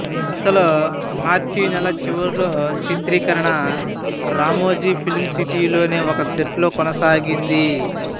ఇంతలో మార్చి నెలచివర్లో చిత్రీకరణ రామోజీ ఫిల్మ్ సిటీలోని ఒక సెట్లో కొనసాగింది